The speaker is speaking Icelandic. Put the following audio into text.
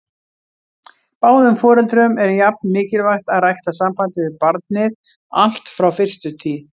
Báðum foreldrum er jafn mikilvægt að rækta sambandið við barnið allt frá fyrstu tíð.